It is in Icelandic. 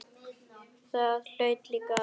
Það hlaut líka að vera.